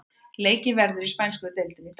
Leikið verður í spænsku deildinni í dag.